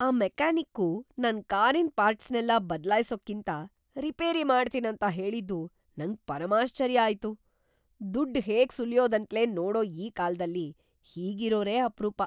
ಆ ಮೆಕ್ಯಾನಿಕ್ಕು ನನ್ ಕಾರಿನ್‌ ಪಾರ್ಟ್ಸ್‌ನೆಲ್ಲ ಬದ್ಲಾಯ್ಸೋಕ್ಕಿಂತ ರಿಪೇರಿ ಮಾಡ್ತೀನಂತ ಹೇಳಿದ್ದು ನಂಗ್‌ ಪರಮಾಶ್ಚರ್ಯ ಆಯ್ತು! ದುಡ್ಡ್‌ ಹೇಗ್ ಸುಲ್ಯೋದಂತ್ಲೇ ನೋಡೋ ಈ ಕಾಲ್ದಲ್ಲಿ ಹೀಗಿರೋರೇ ಅಪ್ರೂಪ!